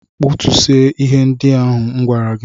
Kpụpụsịa ihe ndị ahụ m gwara gi